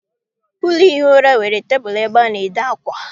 Ụlọ ihi ura nwere tebụl ebe a na- ede akwa.